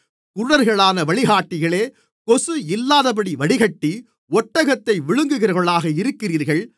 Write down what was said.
குருடர்களான வழிகாட்டிகளே கொசு இல்லாதபடி வடிகட்டி ஒட்டகத்தை விழுங்குகிறவர்களாக இருக்கிறீர்கள்